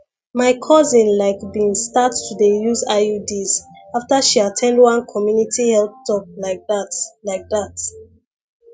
my cousin like been start to dey use iuds after she at ten d one community health talk like that like that